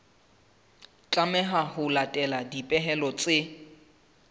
tlameha ho latela dipehelo tse